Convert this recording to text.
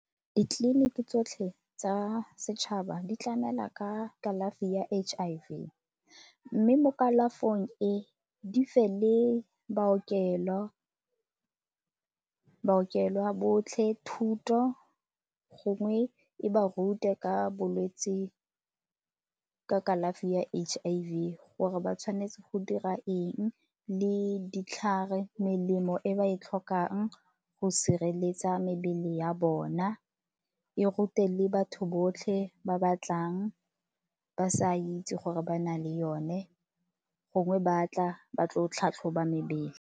Ditleliniki tsotlhe tsa setšhaba di tlamela ka kalafi ya H_I_V mme mo kalafong e di fe le baokelwa botlhe thuto gongwe e ba rute ka bolwetsi ka kalafi ya H_I_V gore ba tshwanetse go dira eng le ditlhare, melemo e ba e tlhokang go sireletsa mebele ya bona. E rute le batho botlhe ba ba tlang ba sa itse gore ba na le yone gongwe batla ba tlo tlhatlhoba mebele.